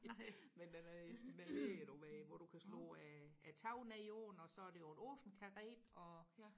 nej men den er i med læder og med hvor du kan slå taget ned på den og så er det jo en åben karet og